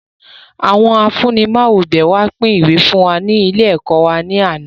Àwọn afunimawobẹ wá pin ìwé fún wa ní ilé ẹ̀kọ́ wá ní àná